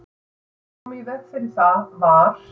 Til að koma í veg fyrir það var